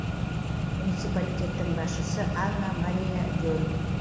муниципалитеттің басшысы анна мариа вель